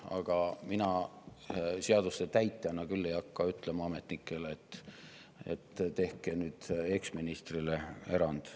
Aga mina seaduste täitjana küll ei hakka ütlema ametnikele, et tehke nüüd eksministrile erand.